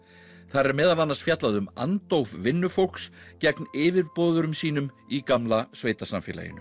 þar er meðal annars fjallað um andóf vinnufólks gegn yfirboðurum sínum í gamla